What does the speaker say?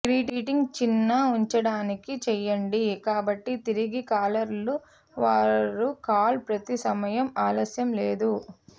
greeting చిన్న ఉంచడానికి చేయండి కాబట్టి తిరిగి కాలర్లు వారు కాల్ ప్రతి సమయం ఆలస్యం లేదు